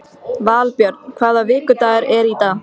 Valbjörn, hvaða vikudagur er í dag?